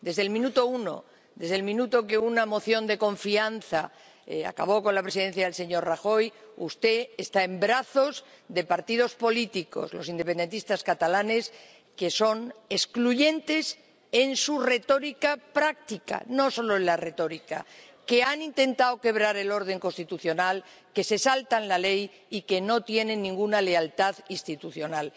Desde el minuto uno, desde el minuto en que una moción de confianza acabó con la presidencia del señor Rajoy, usted está en brazos de partidos políticos —los independentistas catalanes— que son excluyentes en su retórica práctica, y no solo en la retórica, que han intentado quebrar el orden constitucional, que se saltan la ley y que no tienen ninguna lealtad institucional.